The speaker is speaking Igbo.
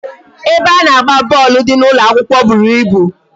Ebe a na-agba bọọlụ dị n'ụlọ akwụkwọ bụrụ ịbụ